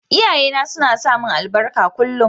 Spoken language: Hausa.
Iyaye na suna samin albarka kullum.